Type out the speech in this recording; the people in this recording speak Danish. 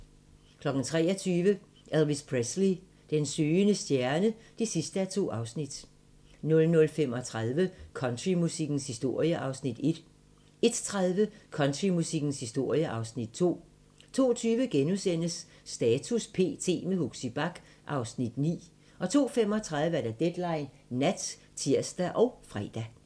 23:00: Elvis Presley: Den søgende stjerne (2:2) 00:35: Countrymusikkens historie (Afs. 1) 01:30: Countrymusikkens historie (Afs. 2) 02:20: Status p.t. - med Huxi Bach (Afs. 9)* 02:35: Deadline Nat (tir og fre)